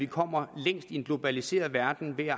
kommer længst i en globaliseret verden ved at